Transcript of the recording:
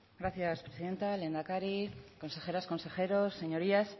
gracias presidenta lehendakari consejeras consejeros señorías